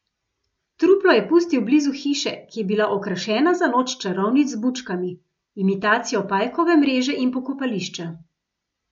Truplo je pustil blizu hiše, ki je bila okrašena za noč čarovnic z bučkami, imitacijo pajkove mreže in pokopališča.